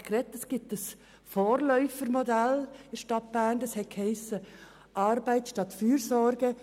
Es gibt in der Stadt Bern ein Vorläufermodell namens «Arbeit statt Fürsorge».